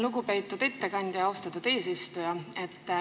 Lugupeetud ettekandja!